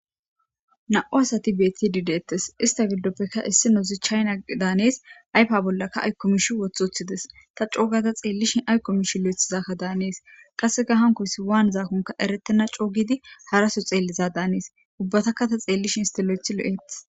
Na7u asati bettidi dettes issta giddoppe issinozi chayinna daanes ayffa bollaka aykko mishsha woththi woththides ta coo gaada xellishin aykko mishshe lo7athizaka daanes qasseka haankoys waanizakonne errettena coo giidi haaraso xelliza daanes ubbetaka ta xellishin issti lo7athi lo7es.